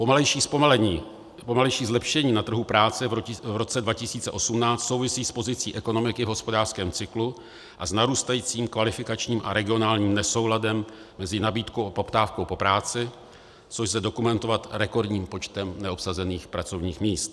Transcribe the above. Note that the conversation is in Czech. Pomalejší zlepšení na trhu práce v roce 2018 souvisí s pozicí ekonomiky v hospodářském cyklu a s narůstajícím kvalifikačním a regionálním nesouladem mezi nabídkou a poptávkou po práci, což lze dokumentovat rekordním počtem neobsazených pracovních míst.